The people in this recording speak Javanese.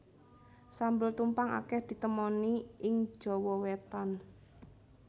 Sambel tumpang akeh ditemoni ing Jawa Wétan